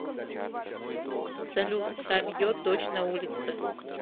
салют там идет дождь на улице